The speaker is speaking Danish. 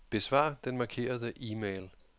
Besvar den markerede e-mail.